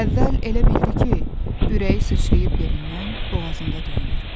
Əvvəl elə bildi ki, ürəyi sıçrayıb yerindən boğazında döyünür.